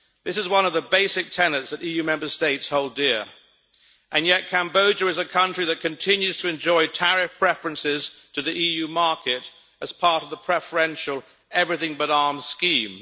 This is one of the basic tenets that the EU member states hold dear and yet, Cambodia is a country that continues to enjoy tariff preferences to the EU market as part of the preferential everything but arms' scheme.